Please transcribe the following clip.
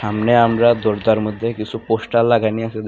সামনে আমরা দরজার মধ্যে কিছু পোস্টার লাগান আছে দেখ --